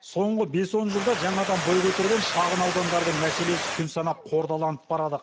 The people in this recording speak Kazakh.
соңғы бес он жылда жаңадан бой көтерген шағына удандардың мәселесі күн санап қордаланып барады